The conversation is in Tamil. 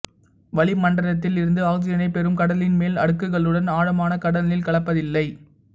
வளிமண்டலத்தில் இருந்து ஆக்சிஜனை பெறும் கடலின் மேல் அடுக்குகளுடன் ஆழமான கடல் நீர் கலப்பதில்லை